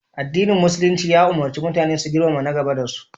Addinin Musulumci ya ummarci mutane su girmama na gaba da su.